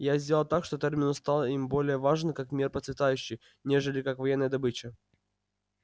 я сделал так что терминус стал им более важен как мир процветающий нежели как военная добыча